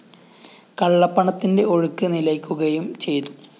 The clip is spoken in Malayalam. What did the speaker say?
കള്ളപ്പണത്തിന്റെ ഒഴുക്ക് നിലയ്ക്കുകയും ചെയ്തു